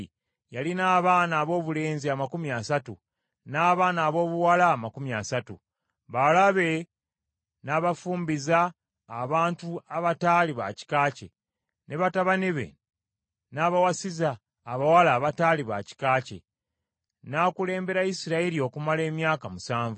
Yalina abaana aboobulenzi amakumi asatu, n’abaana aboobuwala amakumi asatu. Bawala be n’abafumbiza abantu abataali ba kika kye, ne batabani be n’abawasiza abawala abataali ba kika kye. N’akulembera Isirayiri okumala emyaka musanvu.